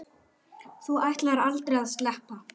Þú ætlaðir aldrei að sleppa.